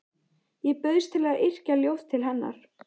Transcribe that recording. Ég bauðst til að yrkja ljóð til hennar.